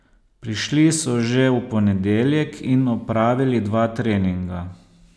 Prišli so že v ponedeljek in opravili dva treninga.